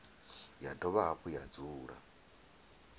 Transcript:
ya dovha hafhu ya dzula